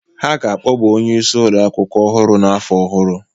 Ha ga-akpọba onye isi ụlọ akwụkwọ ọhụrụ n'afọ ọhụrụ.